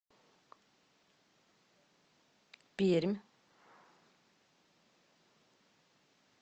пермь